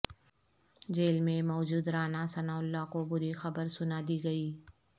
jail میں موجود Rana Sanaullah کو بری خبر سنا دی گئی